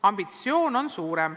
Ambitsioon on suurem.